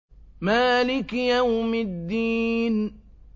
مَالِكِ يَوْمِ الدِّينِ